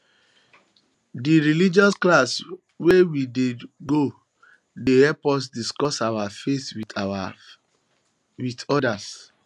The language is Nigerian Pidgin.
di religious classes wey we dey go dey help us discuss our faith wit our faith wit odas